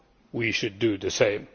We should do the same.